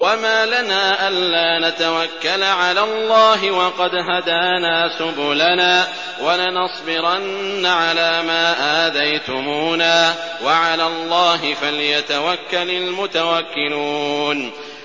وَمَا لَنَا أَلَّا نَتَوَكَّلَ عَلَى اللَّهِ وَقَدْ هَدَانَا سُبُلَنَا ۚ وَلَنَصْبِرَنَّ عَلَىٰ مَا آذَيْتُمُونَا ۚ وَعَلَى اللَّهِ فَلْيَتَوَكَّلِ الْمُتَوَكِّلُونَ